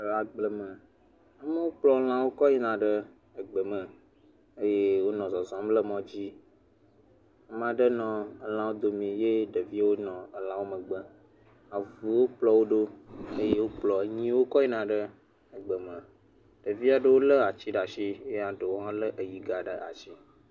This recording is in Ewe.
Le agble me. Wokplɔ̃ lãwo kɔ yina ɖe gbe me eye wonɔ zɔzɔm le mɔ dzi. Ame aɖe le lãwo domi ye ɖeviwo nɔ lãwo megbe. Avuwo kplɔ̃ wo ɖo eye wokplɔ nyiwo kɔ yina ɖe gbe me. Ɖevi aɖewo lé ati ɖe asi eye ɖewo hã lé yi gã ɖe asi.